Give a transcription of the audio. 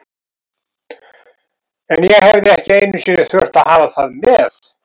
En ég hefði ekki einu sinni þurft að hafa það með.